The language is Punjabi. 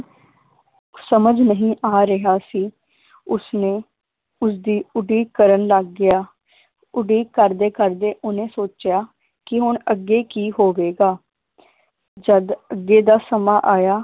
ਸਮਝ ਨਹੀ ਆ ਰਿਹਾ ਸੀ ਉਸਨੇ ਉਸਦੀ ਉਡੀਕ ਕਰਨ ਲੱਗ ਗਿਆ ਉਡੀਕ ਕਰਦੇ ਕਰਦੇ ਓਹਨੇ ਸੋਚਿਆ ਕਿ ਹੁਣ ਅੱਗੇ ਕੀ ਹੋਵੇਗਾ ਜਦ ਅੱਗੇ ਦਾ ਸਮਾਂ ਆਇਆ